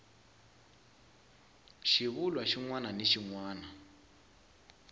xivulwa xin wana ni xin